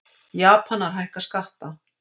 Japanar hækka skatta